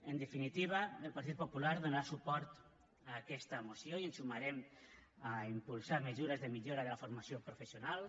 en definitiva el partit popular donarà suport a aquesta moció i ens sumarem a impulsar mesures de millora de la formació professional